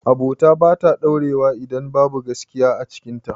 Abota bata ɗaurewa idan babu gaskiya a cikin ta